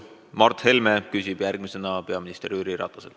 Mart Helme küsib järgmisena peaminister Jüri Rataselt.